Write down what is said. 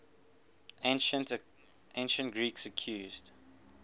ancient greeks accused